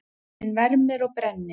Sólin vermir og brennir.